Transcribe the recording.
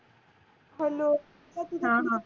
hello